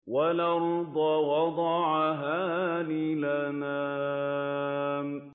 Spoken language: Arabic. وَالْأَرْضَ وَضَعَهَا لِلْأَنَامِ